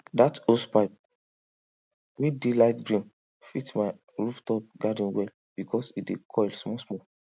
dat hosepipe wey dey light green fit my rooftop garden well because e dey coil smallsmall